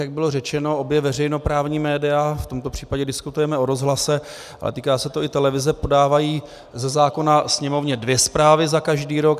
Jak bylo řečeno, obě veřejnoprávní média - v tomto případě diskutujeme o rozhlase, ale týká se to i televize - podávají ze zákona Sněmovně dvě zprávy za každý rok.